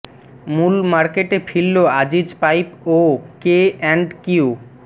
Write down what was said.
মূল মার্কেটে ফিরলো আজিজ পাইপ ও কে অ্যান্ড কিউ